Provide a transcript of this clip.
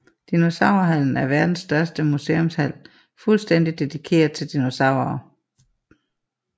Dinosaurhallen er verdens største museumshal fuldstændig dedikeret til dinosaurer